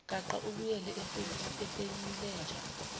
gaqa ubuyele efenilenja